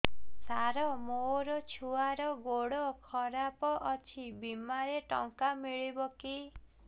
ସାର ମୋର ଛୁଆର ଗୋଡ ଖରାପ ଅଛି ବିମାରେ ଟଙ୍କା ମିଳିବ କି